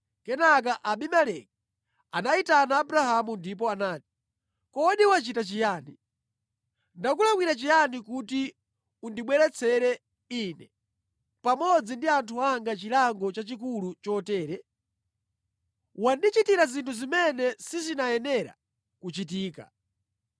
Kenaka Abimeleki anayitana Abrahamu ndipo anati, “Kodi wachita chiyani? Ndakulakwira chiyani kuti undibweretsere ine pamodzi ndi anthu anga chilango chachikulu chotere? Wandichitira zinthu zimene sizinayenera kuchitika.”